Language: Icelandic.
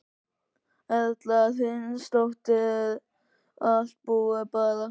Erla Hlynsdóttir: Er allt búið bara?